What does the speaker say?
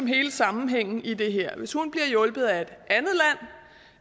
hele sammenhængen i det her er hvis hun bliver hjulpet af